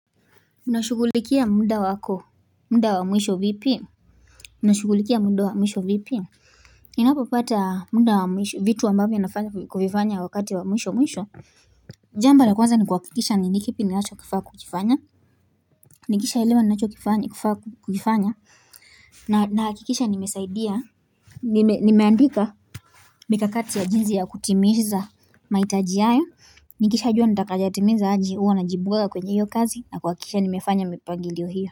Unashughulikia muda wako, muda wa mwisho vipi? Unashughulikia muda wa mwisho vipi? Ninapopapata muda wa mwisho, vitu ambavyo nafanya kuvifanya wakati wa mwisho mwisho Jambo la kwanza ni kuhakikisha ni kipi ninacho kifaa kukifanya, Nikisha elewa ninacho kifaa kuifanya, nahakikisha nimesaidia Nimeandika mikakati ya jinsi ya kutimiza mahitaji hayo Nikisha jua nitakayatimiza aje huwa najibwaga kwenye hiyo kazi na kuhakikisha nimefanya mipangilio hiyo.